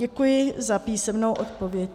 Děkuji za písemnou odpověď.